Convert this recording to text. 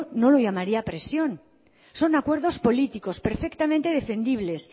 no le llamaría presión son acuerdos políticos perfectamente defendibles